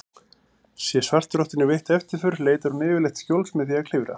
Sé svartrottunni veitt eftirför leitar hún yfirleitt skjóls með því að klifra.